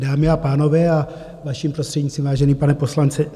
Dámy a pánové, a vaším prostřednictvím, vážený pane poslanče.